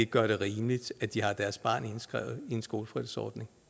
gør det rimeligt at de har deres barn indskrevet i en skolefritidsordning